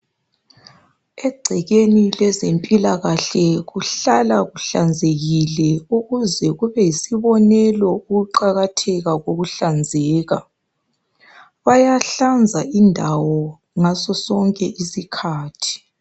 Egcekeni lezempilakahle kuhlala kuhlanzekile ukuze kube yisibonelo ukuqakatheka kokuhlanzeka bayahlaza indawo ngaso sonke isikhathi.